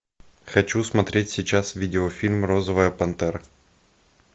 хочу смотреть сейчас видеофильм розовая пантера